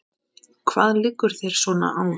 Hvað liggur þér svona á?